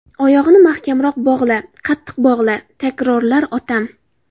Oyog‘ini mahkamroq bog‘la, Qattiq bog‘la, takrorlar otam.